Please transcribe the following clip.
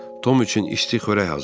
Tom üçün isti xörək hazırla.